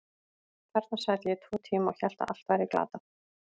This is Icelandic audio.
Þarna sat ég í tvo tíma og hélt að allt væri glatað.